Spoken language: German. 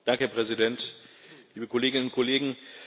Herr Präsident, liebe Kolleginnen und Kollegen!